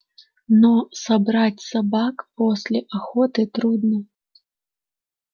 но собрать собак после охоты трудно